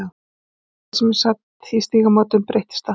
Eitt kvöldið sem ég sat í Stígamótum breyttist það.